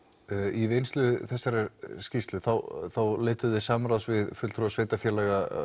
í vinnslu þessarar skýrslu þá leituðuð þið samráðs við fulltrúa sveitarfélaga